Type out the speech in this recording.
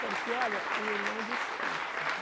Porque, olha, o irmão discute.